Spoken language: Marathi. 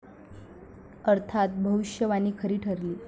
अर्थात भविष्यवाणी खरी ठरली.